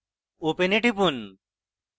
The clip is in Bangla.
open এ টিপুন